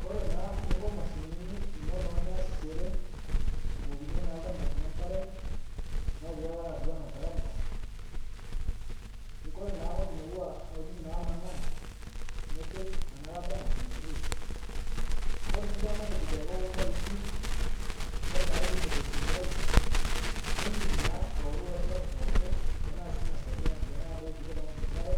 Kore naa ninko mashinini inono niasishere abukokinye naa lchamba lino nkare, matejo taata natuwana ltaragita, kore naa ng'oji nouwaa ng'ojitin namanaa, nipik ana lata najo nkiris, kore sii duake matejo olpaipi kore piidim aitumiyai nintuk naa aoru ilo shapu pooki tanaa sii inia sordo natijing'a duo ipiketa ng'oji nkare.